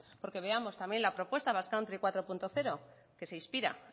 porque veamos también la propuesta basque country cuatro punto cero que se inspira